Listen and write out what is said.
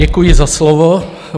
Děkuji za slovo.